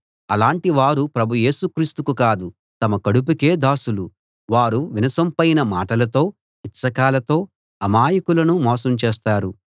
అలాటివారు ప్రభు యేసు క్రీస్తుకు కాదు తమ కడుపుకే దాసులు వారు వినసొంపైన మాటలతో ఇచ్చకాలతో అమాయకులను మోసం చేస్తారు